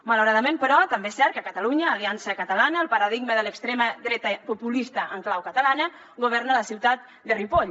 malauradament però també és cert que a catalunya aliança catalana el paradigma de l’extrema dreta populista en clau catalana governa a la ciutat de ripoll